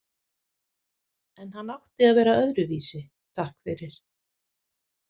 En hann átti að vera öðruvísi, takk fyrir.